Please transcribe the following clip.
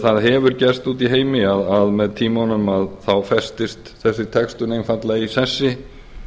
það hefur gerst úti í heimi að með tímanum festist þessi textun einfaldlega í sessi